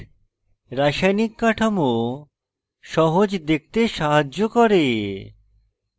রাসায়নিক কাঠামো সহজ দেখতে সাহায্য করে